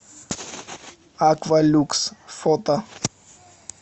аква люкс фото